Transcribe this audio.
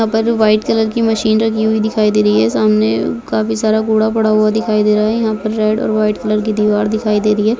अगर white colour की machine रखी हुई दिखाई दे रही है सामने काफी सारा घोड़ा पड़ा हुआ दिखाई दे रहा है यहां पर रेड और वाइट कलर की दीवार दिखाई दे रही है